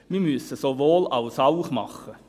Wir müssen sowohl als auch machen.